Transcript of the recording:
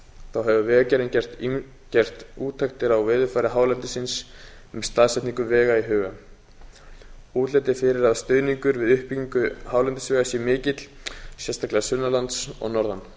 þá hefur vegagerðin gert úttektir á veðurfari hálendisins með staðsetningu vega í huga útlit er fyrir að stuðningur við uppbyggingu hálendisvega sé mikill sérstaklega sunnanlands og norðan